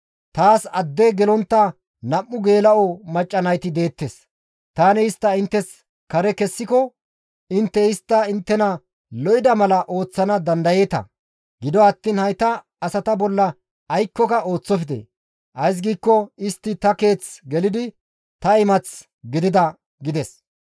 Taas adde gelontta nam7u geela7o macca nayti deettes; tani istta inttes kare kessiko intte istta inttena lo7ida mala ooththana dandayeeta; gido attiin hayta asata bolla aykkoka ooththofte; ays giikko istti ta keeth gelidi ta imath gidida» gides.